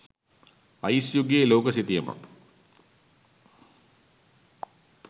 ice යුගයේ ලෝක සිතියමක්